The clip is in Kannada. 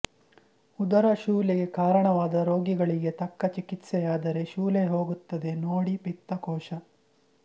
ಉದರಶೂಲೆಗೆ ಕಾರಣವಾದ ರೋಗಗಳಿಗೆ ತಕ್ಕ ಚಿಕಿತ್ಸೆಯಾದರೆ ಶೂಲೆ ಹೋಗುತ್ತದೆ ನೋಡಿಪಿತ್ತಕೋಶ